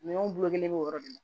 Minɛnw bolo kelen bɛ o yɔrɔ de la